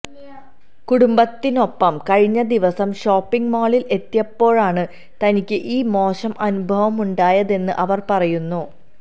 കുടുംബത്തിനൊപ്പം കഴിഞ്ഞ ദിവസം ഷോപ്പിങ് മാളിൽ എത്തിയപ്പോഴാണ് തനിക്ക് ഈ മോശം അനുഭവമുണ്ടായതെന്ന് അവര് പറയുന്നു